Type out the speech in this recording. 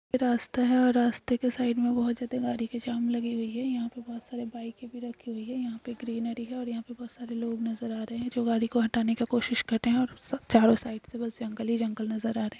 ये रास्ता है और रास्ते के साइड में बहोत ज्यादा गाड़ी के जाम लगी हुई है यहाँ पे बहोत सारे बाइके भी रखी हुई है यहाँ पे ग्रीनरी है और यहाँ पे बहोत सारे लोग नजर आ रहे हैं जो गाड़ी को हटाने का कोशिश करते हैं और चारों साइड से बस जंगल ही जंगल नजर आ --